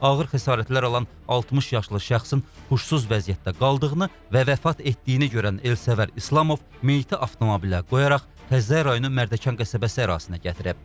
Ağır xəsarətlər alan 60 yaşlı şəxsin huşsuz vəziyyətdə qaldığını və vəfat etdiyini görən Elsəvər İslamov meyiti avtomobilə qoyaraq Xəzər rayonu Mərdəkan qəsəbəsi ərazisinə gətirib.